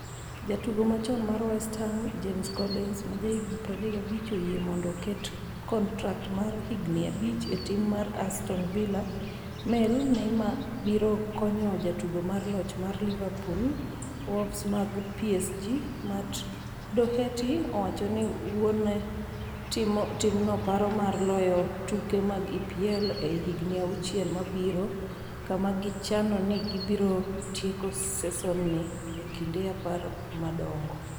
Jatugo machon mar West Ham, James Collins, ma jahigni 35, oyie mondo oket kontrak mar higni abich e tim mar Aston Villa (Mail) Neymar biro konyo Jatugo mar loch mar Liverpool Wolves mar PSG, Matt Doherty, owacho ni wuone timno paro mar loyo tuke mag EPL ei higni auchiel mabiro kama gichano ni gibiro tieko sesonni e kind apar madongo.